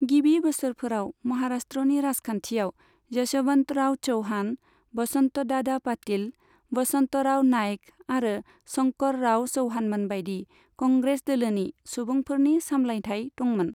गिबि बोसोरफोराव महाराष्ट्रनि राजखान्थिआव यशवन्तराव च'व्हाण, वसन्तदादा पाटिल, वसन्तराव नाइक आरो शंकरराव च'व्हाणमोनबायदि कंग्रेस दोलोनि सुबुंफोरनि सामलायथाय दंमोन।